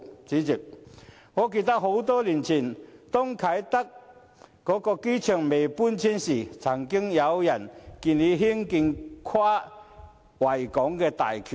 主席，我記得很多年前啟德機場還未搬遷的時候，曾有人建議興建跨維港大橋。